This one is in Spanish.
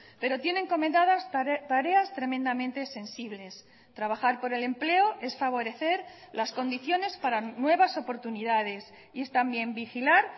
pero tiene encomendadas tareas tremendamente sensibles trabajar por el empleo es favorecer las condiciones para nuevas oportunidades y es también vigilar